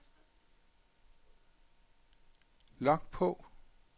log på